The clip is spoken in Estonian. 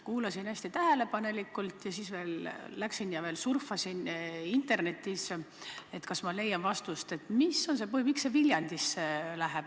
Kuulasin hästi tähelepanelikult ja siis läksin ja surfasin veel Internetis, kas ma leian vastuse, miks see Viljandisse läheb.